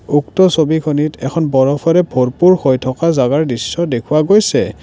উক্ত ছবিখনিত এখন বৰফৰে ভৰপূৰ হৈ থকা জাগাৰ দৃশ্য দেখুৱা গৈছে।